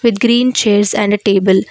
with green chairs and a table.